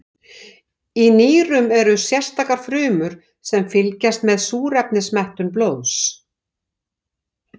Í nýrunum eru sérstakar frumur sem fylgjast með súrefnismettun blóðs.